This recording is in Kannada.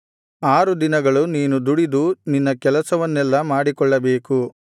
ಆರು ದಿನಗಳು ನೀನು ದುಡಿದು ನಿನ್ನ ಕೆಲಸವನ್ನೆಲ್ಲಾ ಮಾಡಿಕೊಳ್ಳಬೇಕು